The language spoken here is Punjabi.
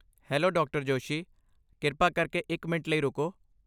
Hello, Dr. ਜੋਸ਼ੀ। ਕਿਰਪਾ ਕਰਕੇ ਇੱਕ ਮਿੰਟ ਲਈ ਰੁਕੋ।